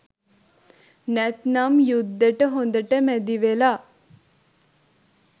නැත්නම් යුද්දෙට හොඳට මැදිවෙලා